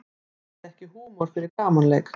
Hafði ekki húmor fyrir gamanleik